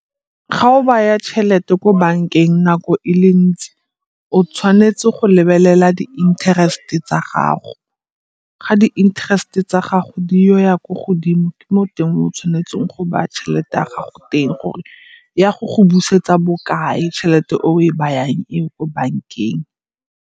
Ga o baya tšhelete ko bankeng nako e le ntsi o tshwanetse go lebelela di-interest tsa gago. Ga di-interest tsa gago godimo di ile go ya ko godimo ke mo teng mo tshwanetseng go baya tšhelete ya gago teng gore ya go go busetsa bokae tšhelete o e bayang eo ko bankeng.